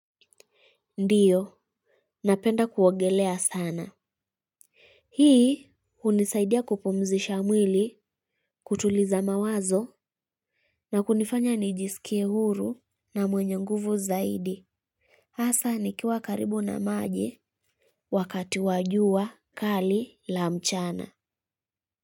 Ndiyo, napenda kuogelea sana. Hii hunisaidia kupumzisha mwili, kutuliza mawazo na kunifanya nijisikie huru na mwenye nguvu zaidi. Hasa nikiwa karibu na maji wakati wa jua kali la mchana.